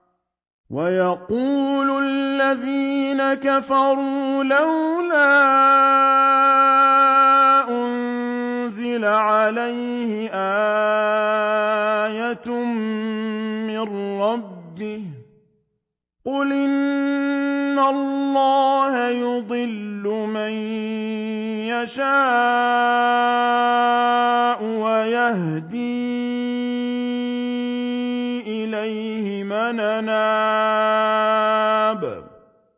وَيَقُولُ الَّذِينَ كَفَرُوا لَوْلَا أُنزِلَ عَلَيْهِ آيَةٌ مِّن رَّبِّهِ ۗ قُلْ إِنَّ اللَّهَ يُضِلُّ مَن يَشَاءُ وَيَهْدِي إِلَيْهِ مَنْ أَنَابَ